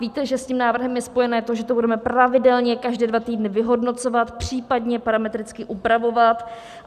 Víte, že s tím návrhem je spojeno to, že to budeme pravidelně každé dva týdny vyhodnocovat, případně parametricky upravovat.